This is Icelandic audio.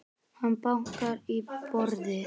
Hann bankar í borðið.